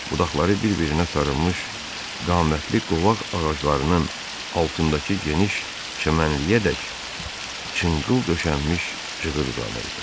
Budaqları bir-birinə sarılmış qamətli qovaq ağaclarının altındakı geniş çəmənliyəədək çınqıl döşənmiş cığır uzanırdı.